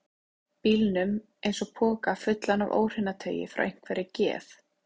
bílnum eins og poka fullan af óhreinataui frá einhverri geð